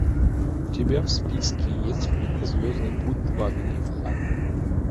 у тебя в списке есть фильмы звездный путь два гнев хана